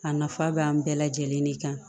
A nafa b'an bɛɛ lajɛlen de kan